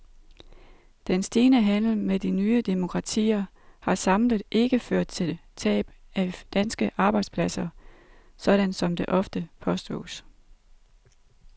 Den stigende handel med de nye demokratier har samlet ikke ført til tab af danske arbejdspladser, sådan som det ofte påstås.